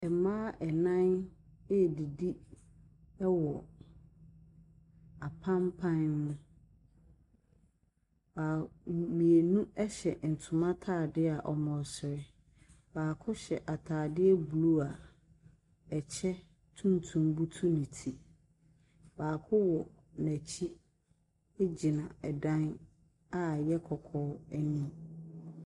Mmaa nnan redidi wɔ apampan no mu. Baa mmienu hyɛ ntoma atade a wɔresere. Baako hyɛ atadeɛ blue a kyɛ tuntum butu ne ti. Baako wɔ n'akyi gyina dan a ɛyɛ kɔkɔɔ anim.